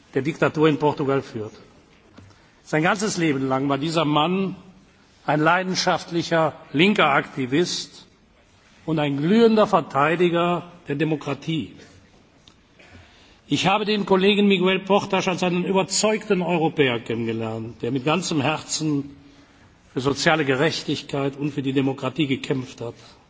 Sturz der Diktatur in Portugal führte. Sein ganzes Leben lang war dieser Mann ein leidenschaftlicher linker Aktivist und ein glühender Verteidiger der Demokratie. Ich habe den Kollegen Miguel Portas als einen überzeugten Europäer kennengelernt, der mit ganzem Herzen für soziale Gerechtigkeit und für die Demokratie gekämpft